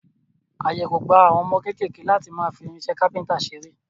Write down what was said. Àyè kò gba àwọn ọmọ kéékèèké láti máa fi irinṣẹ́ kápẹ́ńtà ṣeré.